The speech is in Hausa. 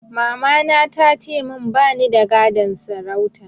Mamana ta ce min ba ni da gadon sarauta